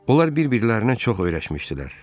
Onlar bir-birlərinə çox öyrəşmişdilər.